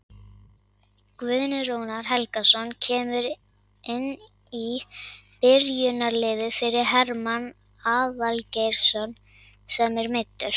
Guðni Rúnar Helgason kemur inn í byrjunarliðið fyrir Hermann Aðalgeirsson sem er meiddur.